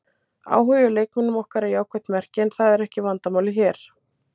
Áhugi á leikmönnum okkar er jákvætt merki en það er ekki vandamálið hér.